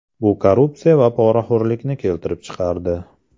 Bu korrupsiya va poraxo‘rlikni keltirib chiqardi.